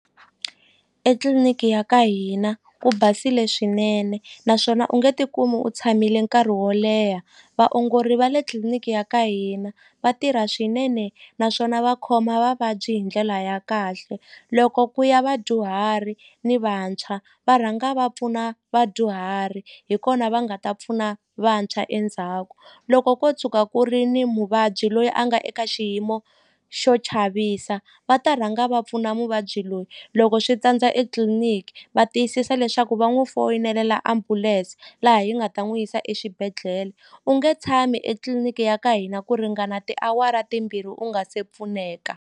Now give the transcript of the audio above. Etliliniki ya ka hina ku basile swinene naswona u nge tikumi u tshamile nkarhi wo leha vaongori va le tliliniki ya ka hina va tirha swinene naswona va khoma vavabyi hi ndlela ya kahle loko ku ya vadyuhari ni vantshwa va rhanga va pfuna vadyuhari hi kona va nga ta pfuna vantshwa endzhaku loko ko tshuka ku ri ni muvabyi loyi a nga eka xiyimo xo chavisa va ta rhanga va pfuna muvabyi loyi loko swi tsandza etliliniki va tiyisisa leswaku va n'wi foyinelela ambulense laha yi nga ta n'wi yisa exibedhlele u nge tshami etliliniki ya ka hina ku ringana tiawara timbirhi u nga se pfuneka.